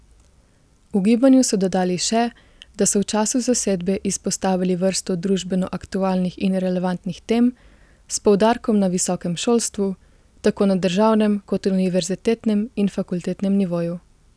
V gibanju so dodali še, da so v času zasedbe izpostavili vrsto družbeno aktualnih in relevantnih tem s poudarkom na visokem šolstvu, tako na državnem kot univerzitetnem in fakultetnem nivoju.